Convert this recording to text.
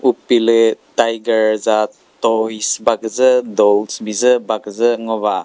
upilü tiger za toys ba küzü dolls bizü ba küzü ngoba.